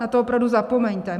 Na to opravdu zapomeňte!